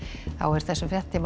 þessum fréttatíma